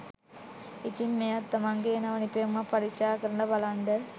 ඉතිං මෙයත් තමන්ගෙ නව නිපැයුමක් පරීක්ෂා කරල බලන්ඩ